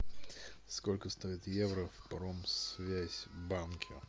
сколько стоит евро в промсвязь банке